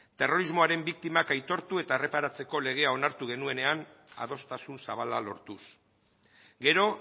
terrorismoaren biktimak aitortu eta erreparatzeko legea onartu genuenean adostasun zabala lortuz gero